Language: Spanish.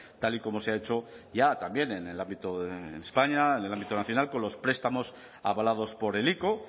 tal y como se ha hecho ya también en el ámbito de españa en el ámbito nacional con los prestamos avalados por el ico